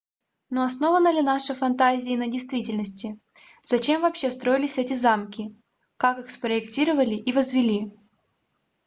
но основана ли наши фантазия на действительности зачем вообще строились эти замки как их спроектировали и возвели